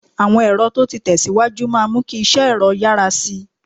Àwọn ẹ̀rọ tó ti tẹ̀ síwájú máa mú kí iṣẹ́ ẹ̀rọ yára sí i